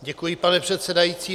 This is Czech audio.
Děkuji, pane předsedající.